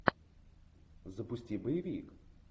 запусти боевик